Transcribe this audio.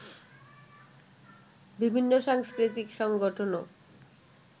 বিভিন্ন সাংস্কৃতিক সংগঠনও